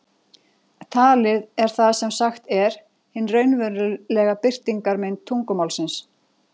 Talið er það sem sagt er, hin raunverulega birtingarmynd tungumálsins.